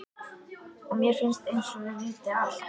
Og mér finnst einsog þau viti allt.